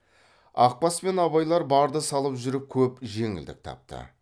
ақбас пен абайлар барды салып жүріп көп жеңілдік тапты